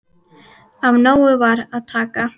Af nógu var að taka.